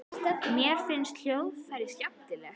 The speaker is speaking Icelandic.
Mér finnst hljóðfræði skemmtileg.